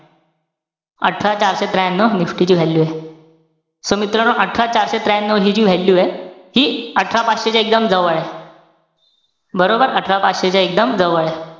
अठरा चारशे त्र्यानव NIFTY ची value ए. so मित्रांनो, अठरा चारशे त्र्यानव हि जी value ए. ती अठरा पाचशे च्या एकदम जवळे. बरोबर? अठरा पाचशे च्या एकदम जवळे.